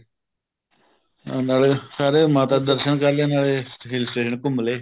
ਨਾਲੇ ਸਾਰੇ ਮਾਤਾ ਦੇ ਦਰਸ਼ਨ ਕਰ ਲੈ ਨਾਲੇ hill station ਘੁੰਮਲੇ